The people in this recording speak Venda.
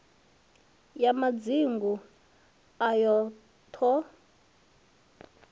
ya madzingu ayo t hod